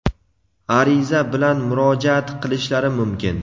ariza bilan murojaat qilishlari mumkin.